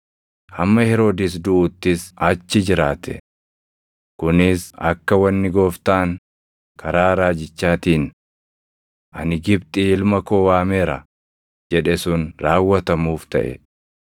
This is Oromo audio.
hamma Heroodis duʼuttis achi jiraate. Kunis akka wanni Gooftaan karaa raajichaatiin, “Ani Gibxii ilma koo waameera” + 2:15 \+xt Hos 11:1\+xt* jedhe sun raawwatamuuf taʼe.